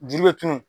Juru bɛ tunun